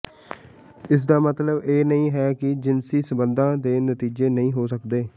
ਇਸ ਦਾ ਮਤਲਬ ਇਹ ਨਹੀਂ ਹੈ ਕਿ ਜਿਨਸੀ ਸੰਬੰਧਾਂ ਦੇ ਨਤੀਜੇ ਨਹੀਂ ਹੋ ਸਕਦੇ